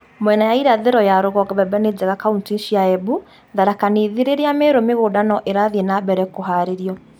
Mwena wa irathiro ya rũgongo mbembe ni njega kauntĩ cia Embu, Tharaka Nithi, rĩrĩa Meru mĩgũnda no ĩrathiĩ na mbere kũharĩrio